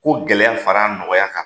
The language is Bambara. Ko gɛlɛya fara a nɔgɔya kan.